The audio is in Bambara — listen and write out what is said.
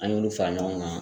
An y'olu fara ɲɔgɔn kan